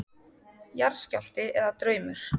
Jarðskjálfti eða draumur?